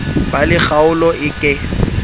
ba le kgaolo e ke